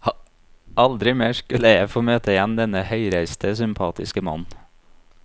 Aldri mer skulle jeg få møte igjen denne høyreiste, sympatiske mannen.